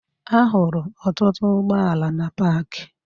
Ahụrụ ọtụtụ ụgbọala na paakị